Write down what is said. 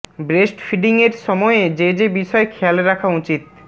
breast ফিডিংয়ের সময়ে যে যে বিষয় খেয়াল রাখা উচিত